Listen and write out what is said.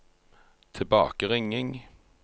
tilbakeringing